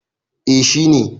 Eh shi ne.